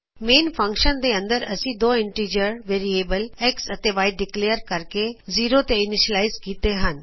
main function ਦੇ ਅੰਦਰ ਅਸੀ ਦੋ ਇੰਟੀਜਰ ਵੇਰੀਏਬਲਜ਼ X ਅਤੇ Y ਡਿਕਲੇਯਰ ਕਰਕੇ ਜ਼ੀਰੋ ਤੇ ਇਨੀਸ਼ਲਾਇਜ਼ ਕੀਤੇ ਹਨ